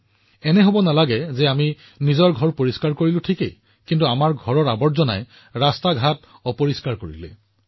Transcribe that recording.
এনে নহয় যে আমি আমাৰ ঘৰ পৰিষ্কাৰ কৰো কিন্তু আমাৰ ঘৰৰ লেতেৰাবোৰ আমাৰ ঘৰৰ বাহিৰত আমাৰ ৰাস্তালৈ দলিয়াও